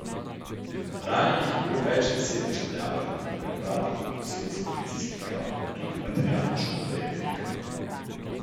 Ranjenih je bilo več deset državljanov in pripadnikov posebnih policijskih enot, tudi materialna škoda je velika.